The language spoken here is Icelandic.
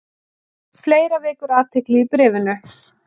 Fleira vekur athygli í bréfinu.